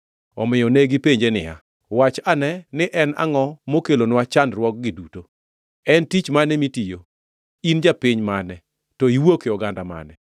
Omiyo negipenje niya, “Wachnwa ane ni en angʼo mokelonwa chandruokgi duto? En tich mane mitiyo? In japiny mane? To iwuok e oganda mane?”